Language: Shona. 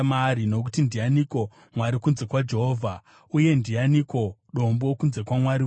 Nokuti ndianiko Mwari kunze kwaJehovha? Uye ndianiko Dombo kunze kwaMwari wedu?